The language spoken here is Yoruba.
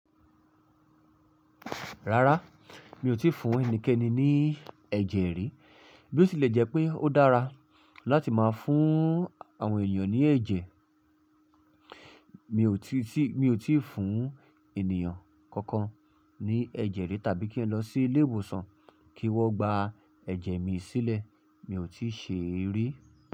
Rárá, mi ò tí ì fún ẹnikẹ́ni ní ẹ̀jẹ̀ rí. Bí ó tilẹ̀ jẹ́ pé ó dára láti máa fún àwọn ènìyàn ní ẹ̀jẹ̀, mi ò tíì, mi ò tí ì fún ènìyàn kankan ní ẹ̀jẹ̀ rí tàbí kí n lọ sí ilé ìwòsàn kí wọ́n gba ẹ̀jẹ̀ mi sílẹ̀. Mi ò tíì ṣe rí.